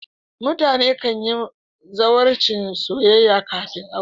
mutane kan yi zawarcin soyayya kafin aure